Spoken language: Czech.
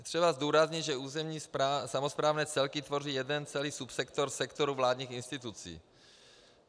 Je třeba zdůraznit, že územní samosprávné celky tvoří jeden celý subsektor sektoru vládních institucí.